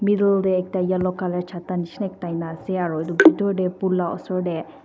middle tae ekta yellow colour chata nishina ekta ena ase aro bitor tae pool la osor tae--